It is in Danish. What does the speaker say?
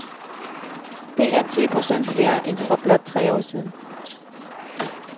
Det er ti procent flere end for blot tre år siden.